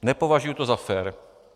Nepovažuji to za fér.